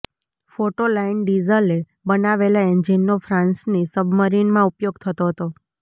photo line ડીઝલે બનાવેલા એન્જિનનો ફ્રાંસની સબમરીનમાં ઉપયોગ થતો હતો